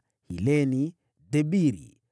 Hileni, Debiri,